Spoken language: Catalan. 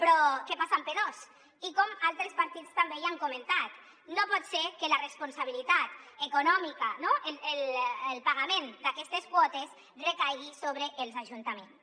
però què passa amb p2 i com altres partits també li han comentat no pot ser que la responsabilitat econòmica no el pagament d’aquestes quotes recaigui sobre els ajuntaments